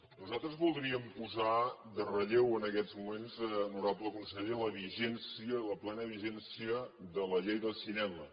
nosaltres voldríem posar en relleu en aquests moments honorable conseller la vigència la plena vigència de la llei del cinema